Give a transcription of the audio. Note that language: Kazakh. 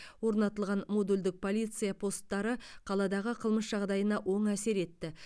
орнатылған модульдік полиция посттары қаладағы қылмыс жағдайына оң әсер етті